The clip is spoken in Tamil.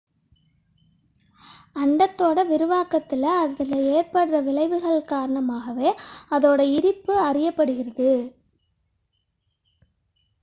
அண்டத்தின் விரிவாக்கத்தில் அது ஏற்படுத்தும் விளைவுகளின் காரணமாகவே அதன் இருப்பு அறியப்படுகிறது